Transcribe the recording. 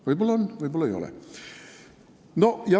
Võib-olla on, võib-olla ei ole.